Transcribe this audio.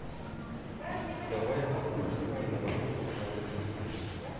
давай я посмотрю киноработу в жанре триллер